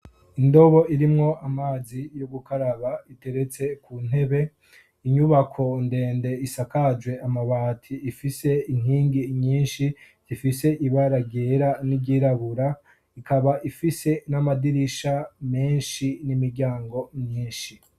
Indobo irimwo amazi yo gukaraba iteretse ku ntebe inyubako ndende isakajwe amabati ifise inkingi nyinshi zifise ibara ryera n'iryirabura ikaba ifise n'amadirisha menshi n'imiryango myinshi.